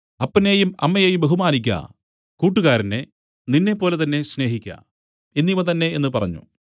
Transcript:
അപ്പനെയും അമ്മയെയും ബഹുമാനിയ്ക്ക കൂട്ടുകാരനെ നിന്നെപ്പോലെ തന്നേ സ്നേഹിക്ക എന്നിവ തന്നേ എന്നു പറഞ്ഞു